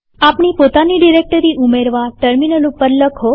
આપણી પોતાની ડિરેક્ટરી ઉમેરવા ટર્મિનલ ઉપર લખો